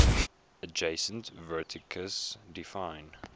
adjacent vertices define